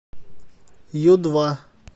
ю два